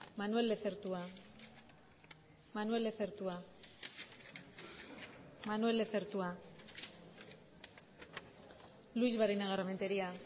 manuel lezertua manuel lezertua manuel lezertua luix barinagarrementeria